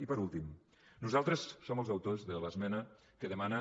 i per últim nosaltres som els autors de l’esmena que demana